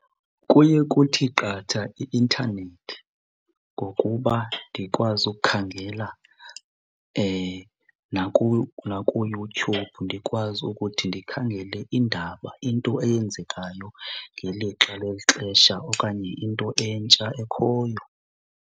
Kuye kuthi qatha i-intanethi ngokuba ndikwazi ukukhangela nakuYouTube ndikwazi ukuthi ndikhangele iindaba, into eyenzekayo ngelixa lexesha okanye into entsha ekhoyo.